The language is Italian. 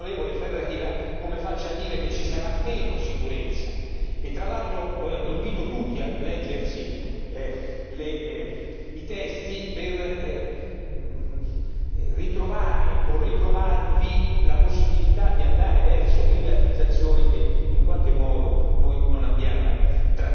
Ferreira, come faccia a dire che ci sarà meno sicurezza e tra l'altro invito tutti a leggersi i testi per ritrovare o ritrovarvi la possibilità di andare verso privatizzazioni che in qualche modo noi non abbiamo trattato.